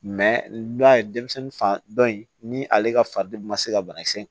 n'i y'a ye denmisɛnnin fan dɔ in ni ale ka faden ma se ka banakisɛ